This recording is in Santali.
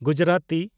ᱜᱩᱡᱽᱨᱟᱛᱤ